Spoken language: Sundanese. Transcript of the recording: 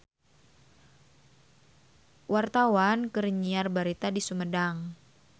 Wartawan keur nyiar berita di Sumedang